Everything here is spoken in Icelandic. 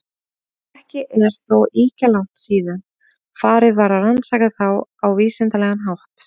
Ekki er þó ýkja langt síðan farið var að rannsaka þá á vísindalegan hátt.